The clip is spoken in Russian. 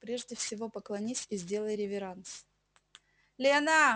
прежде всего поклонись и сделай реверанс